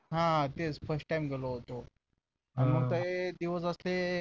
हा तेच first time गेलो होतो मग ते दिवस असे